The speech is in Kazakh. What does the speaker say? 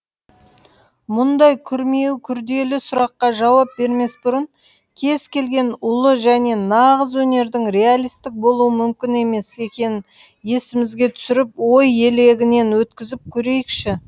мұндай күрмеуі күрделі сұраққа жауап бермес бұрын кез келген ұлы және нағыз өнердің реалистік болуы мүмкін емес екенін есімізге түсіріп ой елегінен өткізіп көрейікші